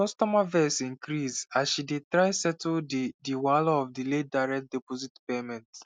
di customer vex increase as she dey try settle di di wahala of delayed direct deposit payment